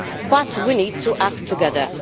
But we need to act together.